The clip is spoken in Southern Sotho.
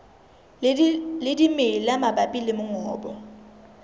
le dimela mabapi le mongobo